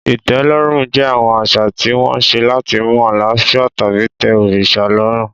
Ìtẹ́lọ́rùn jẹ́ àwọn àṣà tí wọ́n ṣe láti mú àlàáfíà tàbí tẹ́ òrìṣà lọ́rùn.